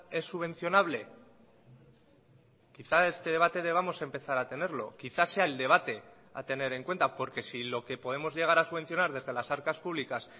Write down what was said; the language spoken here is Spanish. es subvencionable quizá este debate debamos empezar a tenerlo quizá sea el debate a tener en cuenta porque si lo que podemos llegar a subvencionar desde las arcas públicas